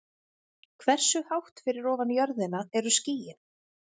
Hversu hátt fyrir ofan jörðina eru skýin?